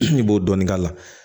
I b'o dɔɔnin k'a la